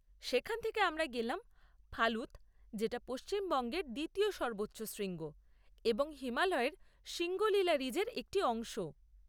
সেখান থেকে আমরা গেলাম ফালুত যেটা পশ্চিমবঙ্গের দ্বিতীয় সর্বোচ্চ শৃঙ্গ এবং হিমালয়ের সিঙ্গলিলা রিজের একটি অংশও।